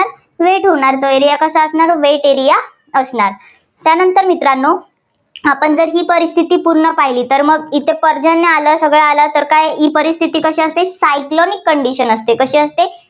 wet होणार. area कसा असणार wet area असणार. त्यानंतर मित्रांनो आपण जर ही परिस्थिती पूर्ण पाहिली तर मग इथं पर्जन्य आलं, सगळं आलं तर ही परिस्थिती कशी असते cyclonic condition असते, कशी असते